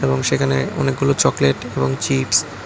এবং সেখানে অনেকগুলো চকলেট এবং চিপস্ --